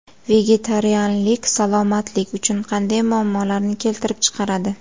Vegetarianlik salomatlik uchun qanday muammolarni keltirib chiqaradi?.